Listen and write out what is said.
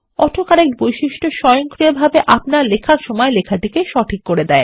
autocorrect বৈশিষ্ট্য স্বয়ংক্রিয়ভাবে আপনারলেখার সময় লেখাটিকে সঠিক করে